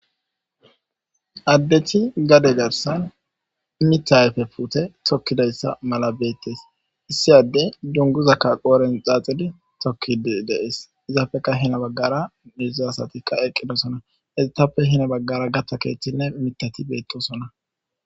Addethi gade garsan mitha ayfe puute tokkidayssa mala beettes issi addey dunguzakka qooren xaaxidi tokkidi dees izaafeka hina baggara hedzdzzu asatikka eqqidosona hedzdzatappe hina baggara gatta keeththinne mitati beettosona.